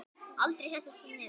Aldrei settist hún niður.